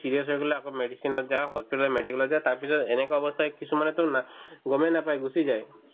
serious হৈ গ'লে আকৌ medicine ত যাও hospital ত medical ত যাও তাৰপিছত এনেকুৱা অৱস্থা কিছুমানেতো না গমে নাপাই গুচি যায়